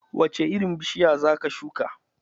Wace irin bishiya za ka shuka?